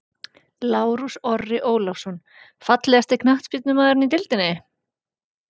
Lárus Orri Ólafsson Fallegasti knattspyrnumaðurinn í deildinni?